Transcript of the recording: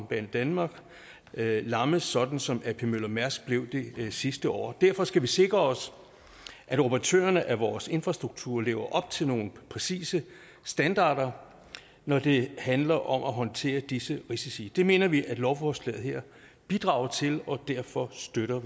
banedanmark lammes sådan som ap møller mærsk blev det sidste år derfor skal vi sikre os at operatørerne af vores infrastruktur lever op til nogle præcise standarder når det handler om at håndtere disse risici det mener vi at lovforslaget her bidrager til og derfor støtter